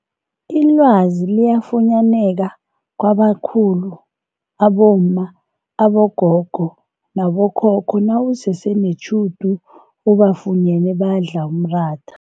Ilwazi liyafunyaneka kwabakhulu abomma, abogogo nabokhokho nawusese netjhudu ubafunyene badla umratha.